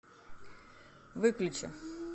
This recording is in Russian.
выключи